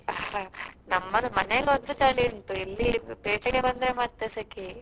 ಹಾ ನಮ್ಮದು ಮನೆಯಲ್ಲಿ ಒಂತೆ ಚಳಿ ಉಂಟು ಇಲ್ಲಿ ಪೇಟೆಗೆ ಬಂದ್ರೆ ಮತ್ತೆ ಸೆಕೆಯೇ.